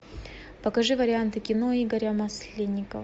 покажи варианты кино игоря масленникова